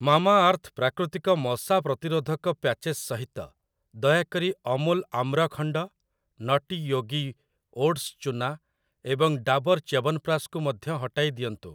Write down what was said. Mamaearth ପ୍ରାକୃତିକ ମଶା ପ୍ରତିରୋଧକ ପ୍ୟାଚେସ୍ ସହିତ, ଦୟାକରି ଅମୁଲ ଆମ୍ରଖଣ୍ଡ, ନଟି ୟୋଗୀ ଓଟ୍ସ୍ ଚୁନା ଏବଂ ଡାବର୍ ଚ୍ୟବନପ୍ରାଶକୁ ମଧ୍ୟ ହଟାଇଦିଅନ୍ତୁ ।